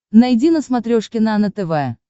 найди на смотрешке нано тв